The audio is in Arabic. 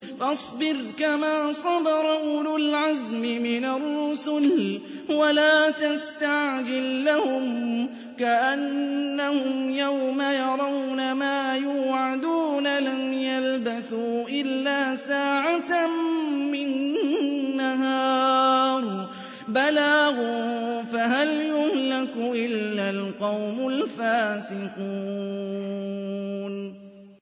فَاصْبِرْ كَمَا صَبَرَ أُولُو الْعَزْمِ مِنَ الرُّسُلِ وَلَا تَسْتَعْجِل لَّهُمْ ۚ كَأَنَّهُمْ يَوْمَ يَرَوْنَ مَا يُوعَدُونَ لَمْ يَلْبَثُوا إِلَّا سَاعَةً مِّن نَّهَارٍ ۚ بَلَاغٌ ۚ فَهَلْ يُهْلَكُ إِلَّا الْقَوْمُ الْفَاسِقُونَ